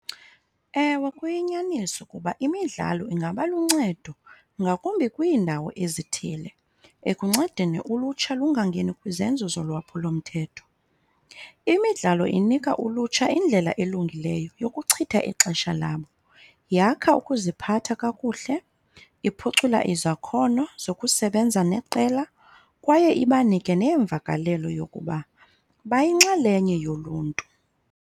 Ewe, kuyinyaniso ukuba imidlalo ingaba luncedo ngakumbi kwiindawo ezithile ekuncedeni ulutsha lungangeni kwizenzo zolwaphulomthetho. Imidlalo inika ulutsha indlela elungileyo yokuchitha ixesha labo, yakha ukuziphatha kakuhle, iphucula izakhono zokusebenza neqela, kwaye ibanike neemvakalelo yokuba bayinxalenye yoluntu.